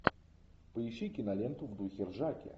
поищи киноленту в духе ржаки